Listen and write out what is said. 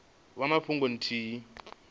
vha na fhungo ithihi ine